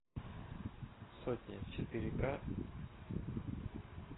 сотня четыре к